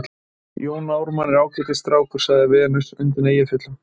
Jón Ármann er ágætis strákur, sagði Venus undan Eyjafjöllum.